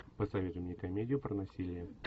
посоветуй мне комедию про насилие